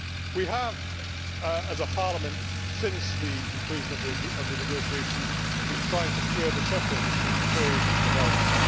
We have, as a Parliament, since the conclusion of the negotiations been trying to square the circle between trade and development.